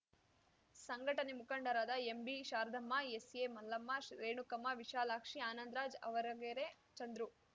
ಸಂಘಟನೆ ಮುಖಂಡರಾದ ಎಂಬಿಶಾರದಮ್ಮ ಎಸ್‌ಎಮಲ್ಲಮ್ಮ ರೇಣುಕಮ್ಮ ವಿಶಾಲಾಕ್ಷಿ ಆನಂದರಾಜ್‌ ಆವರಗೆರೆ ಚಂದ್ರು